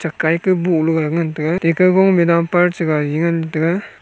akai ka boh lo ga ngan taiga dumper gaari chu ngan tai ga.